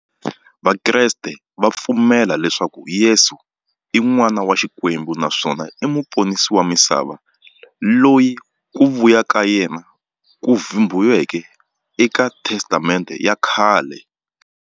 Vakreste va pfumela leswaku Yesu i n'wana wa Xikwembu naswona i muponisi wa misava, loyi ku vuya ka yena ku vhumbiweke e ka Testamente ya khale.